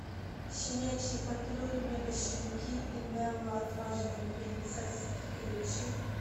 щенячий патруль мегащенки и нелла отважная принцесса включи